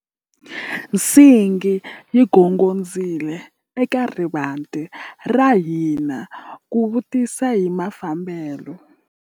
Nsingi yi gongondzile eka rivanti ra hina ku vutisa hi mafambelo.